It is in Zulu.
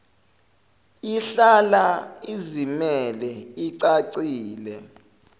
ihlala izimele icacile